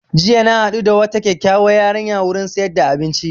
Jiya na haɗu da wata kyakyauwar yarinya wurin siyar da abinci